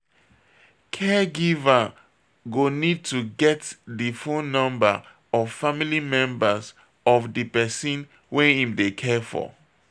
Caregiver go need to get di phone number of family members of di person wey im dey care for